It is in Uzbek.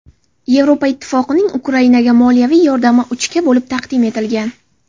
Yevropa ittifoqining Ukrainaga moliyaviy yordami uchga bo‘lib taqdim etilgan.